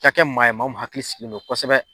ka kɛ maa ye maa min hakili sigilen no kosɛbɛ.